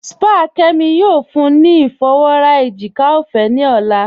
Sípàá Kẹ́mí yóò fúnní ni ifọwọ́rà èjìkà ọfẹ́ ni ọlá.